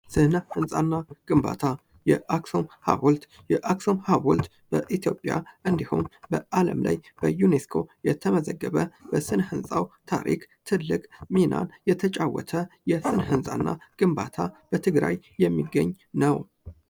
የአክሱም ሀውልት በኢትዮጵያ እንዲሁም አለም ላይ የተመዘገበ በስነ ህንጻው ታሪክ ትልቅ ሚና የተጫወተ የስነ ህፃና ግንባታ በትግራይ የሚገኝ ነው ።